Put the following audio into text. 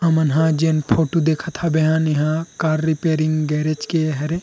हमन ह जेन फोटो देखत हावे हन इहा कार रिपेयरिंग गेराज के हरे।